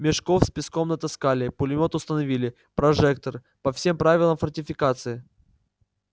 мешков с песком натаскали пулемёт установили прожектор по всем правилам фортификации